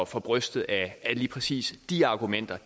for brystet at lige præcis de argumenter